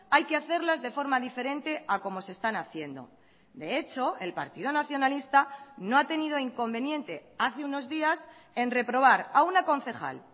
hay que hacerlas de forma diferente a como se están haciendo de hecho el partido nacionalista no ha tenido inconveniente hace unos días en reprobar a una concejal